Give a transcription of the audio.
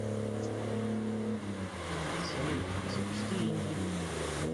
салют запусти инди